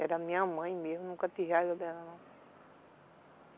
Era minha mãe mesmo, nunca tive raiva dela, não.